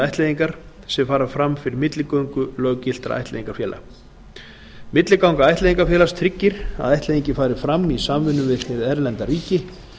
ættleiðingar sem fara fram fyrir milligöngu löggiltra ættleiðingarfélaga milliganga ættleiðingarfélags tryggir að ættleiðingin fari fram í samvinnu við hið erlenda ríki